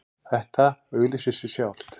Þetta auglýsir sig sjálft